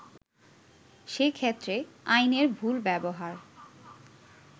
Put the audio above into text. সেক্ষেত্রে আইনের ভুল ব্যবহার